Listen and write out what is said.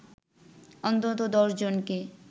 অন্তত ১০ জনকে